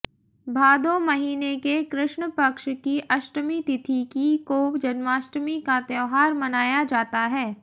भादौ महीने के कृष्णपक्ष की अष्टमी तिथि की को जन्माष्टी का त्यौहार मनाया जाता है